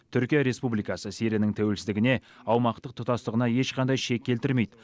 түркия республикасы сирияның тәуелсіздігіне аумақтық тұтастығына ешқандай шек келтірмейді